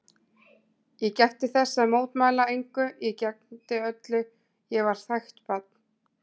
Ég gætti þess að mótmæla engu, ég gegndi öllu, ég var þægt barn.